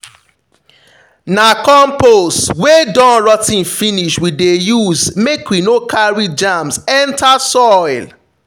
na compost wey don rot ten finish we dey use make we no carry germs enter soil.